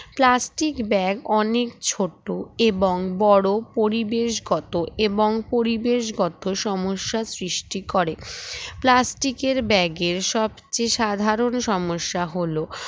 plastic bag অনেক ছোট এবং বড় পরিবেশগত এবং পরিবেশগত সমস্যার সৃষ্টি করে plastic এর bag এর সবচেয়ে সাধারণ সমস্যা হলো